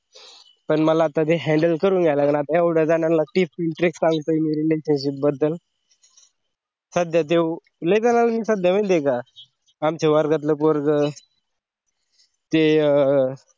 पण तर मला handle करून घ्यावं लागलं आता कारण एवढ्या जणांचा एक सांगतो मी relationship बद्दल सदयाच त्यो लय जणा ले विसरलो माहीत हाई का आमचा वर्गातल पोरगं ते अं